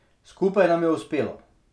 Skupaj nam je uspelo.